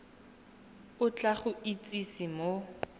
o tla go itsise mo